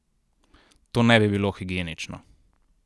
To ne bi bilo higienično.